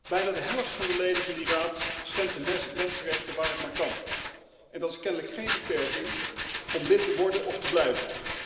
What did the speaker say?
Bijna de helft van de leden van die raad schendt de mensenrechten waar het maar kan en dat is kennelijk geen beperking om lid te worden of te blijven.